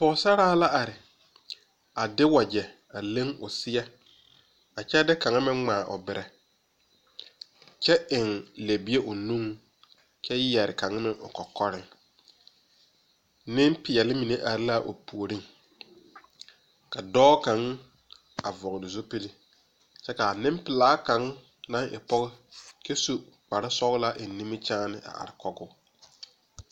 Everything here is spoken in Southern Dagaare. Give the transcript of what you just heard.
Pɔgɔsaraa la are a de wagye a leŋ o seɛ a kyɛ de kanga a meŋ ŋmaa o bireɛ. Kyɛ eŋ lɛbie o nuŋ kyɛ yɛre kang meŋ o kokoreŋ. Nepiɛle mene are la a o pooreŋ. Ka dɔɔ kang a vogle zupule kyɛ ka a nepulaa kang na e pɔgɔ kyɛ su kparo sɔgla eŋ nimikyaane a are kɔ o